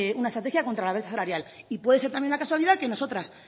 una estrategia contra la brecha salarial y puede ser también una casualidad que nosotras